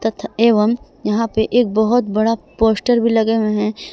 तथा एवं यहां पे एक बहोत बड़ा पोस्टर भी लगे हुए हैं।